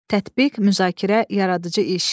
Tətbiq, müzakirə, yaradıcı iş.